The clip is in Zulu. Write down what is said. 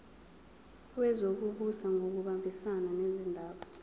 wezokubusa ngokubambisana nezindaba